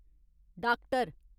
doctor